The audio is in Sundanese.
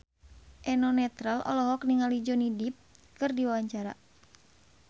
Eno Netral olohok ningali Johnny Depp keur diwawancara